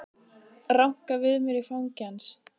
Ranka við mér í fangi hans.